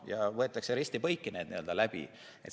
Need võetakse risti-põiki läbi.